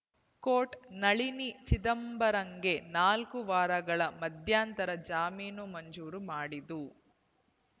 court Nalini ಚಿದಂಬರಂಗೆ ನಾಲ್ಕು ವಾರಗಳ ಮಧ್ಯಂತರ ಜಾಮೀನು ಮಂಜೂರು ಮಾಡಿದ್ದು